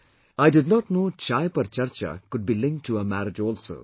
But, I did not know 'Chai Par Charcha' could be linked to a marriage also